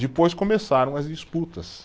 Depois começaram as disputas.